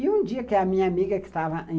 E um dia, que a minha amiga que estava em...